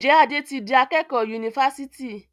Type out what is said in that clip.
Njé Ade tí dì akékò Yunifásitì?